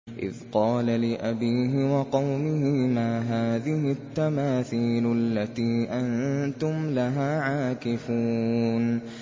إِذْ قَالَ لِأَبِيهِ وَقَوْمِهِ مَا هَٰذِهِ التَّمَاثِيلُ الَّتِي أَنتُمْ لَهَا عَاكِفُونَ